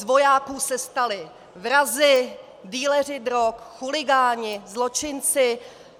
Z vojáků se stali vrazi, dealeři drog, chuligáni, zločinci.